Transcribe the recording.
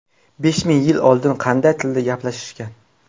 Besh ming yil oldin qanday tilda gaplashishgan?